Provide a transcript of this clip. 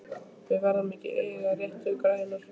Við verðum að eiga réttu græjurnar!